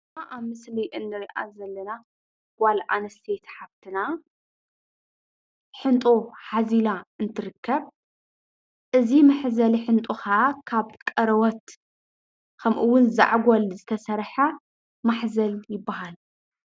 እዛ አብ ምስሊ እንሪአ ዘለና ጋል አንስተይቲ ሓፍትና ሕንጦ ሓዚላ እትርከብ እዚ መሕዘሊ ሕጦ ከዓ ካብ ቆርቦት ከምኡ እውን ዛዕጎል ዝተሰርሐ ማሕዘል ይበሃል፡፡